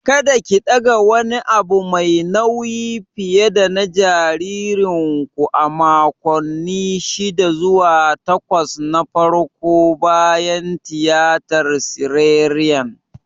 Kada ki ɗaga wani abu mai nauyi fiye dana jaririnku a makonni shida zuwa takwas na farko bayan tiyatar siserian!